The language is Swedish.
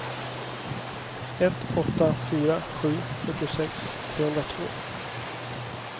ett åtta fyra sju fyrtiosex trehundratvå